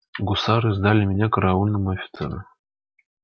гусары сдали меня караульному офицеру